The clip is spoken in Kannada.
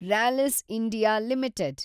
Rallis India limited